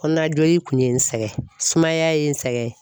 Kɔnɔnajoli kun ye n sɛgɛn sumaya ye n sɛgɛn.